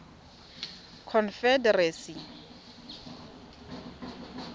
confederacy